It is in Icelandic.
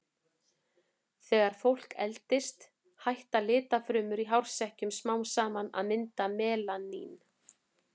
Þegar fólk eldist hætta litfrumurnar í hársekkjunum smám saman að mynda melanín.